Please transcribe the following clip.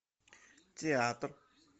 театр